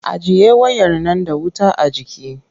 Ajiye wayar nan da wuta a jiki!